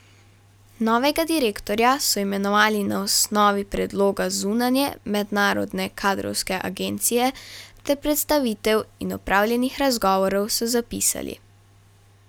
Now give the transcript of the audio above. Novega direktorja so imenovali na osnovi predloga zunanje mednarodne kadrovske agencije ter predstavitev in opravljenih razgovorov, so zapisali.